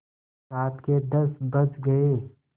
रात के दस बज गये